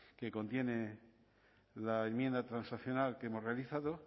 que contiene la enmienda transaccional que hemos realizado